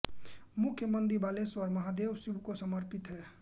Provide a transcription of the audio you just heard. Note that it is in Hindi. मुख्य मन्दिर बालेश्वर महादेव शिव को समर्पित है